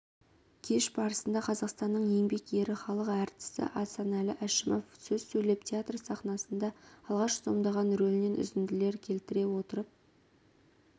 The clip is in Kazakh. кеш барысында қазақстанның еңбек ері халық әртісі асанәлі әшімов сөз сөйлеп театр сахнасында алғаш сомдаған рөлінен үзінділер келтіре отырып